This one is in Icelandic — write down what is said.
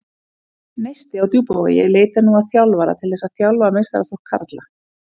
Neisti á Djúpavogi leitar nú að þjálfara til þess að þjálfa meistaraflokk karla.